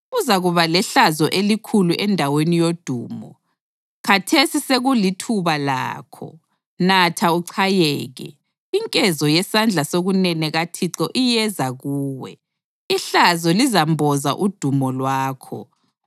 Uzakuba lehlazo elikhulu endaweni yodumo. Khathesi sekulithuba lakho! Natha uchayeke. Inkezo yesandla sokunene kaThixo iyeza kuwe, ihlazo lizamboza udumo lwakho.